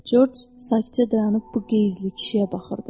Corc sakitcə dayanıb bu qeyzli kişiyə baxırdı.